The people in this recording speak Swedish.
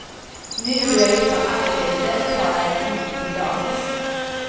Nu då jag är utan arbete tar jag den inte till dagis.